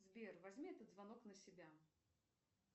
сбер возьми этот звонок на себя